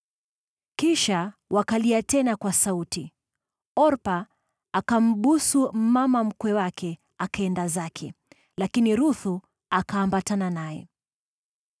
Kisha wakalia tena kwa sauti. Orpa akambusu mama mkwe wake, akaenda zake, lakini Ruthu akaambatana naye.